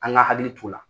An ka hakili t'o la